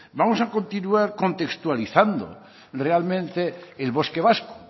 vamos a continuar contextualizando realmente el bosque vasco